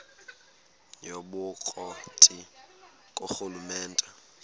yobukro ti ngurhulumente